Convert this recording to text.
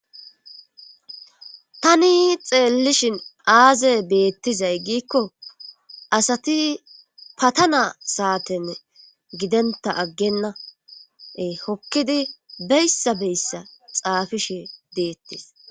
Tani xeellishin aaze beettizay giikko asati patana saatenne gidenta aggenna hokkidi beyssa beyssa xaafishe deettes